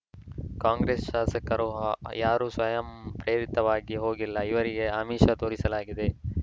ಕಾಂಗ್ರೆಸ್‌ ಶಾಸಕರು ಅ ಯಾರೂ ಸ್ವಯಂ ಪ್ರೇರಿತವಾಗಿ ಹೋಗಿಲ್ಲ ಇವರಿಗೆ ಆಮಿಷ ತೋರಿಸಲಾಗಿದೆ